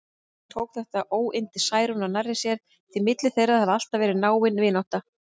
Hún tók þetta óyndi Særúnar nærri sér, því milli þeirra hafði alltaf verið náin vinátta.